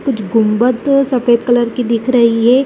कुछ गुम्बद सफेद कलर की दिख रही हैं।